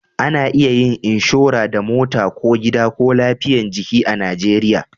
A na iya yin inshora da mota ko gida ko lafiyan jiki a najeriya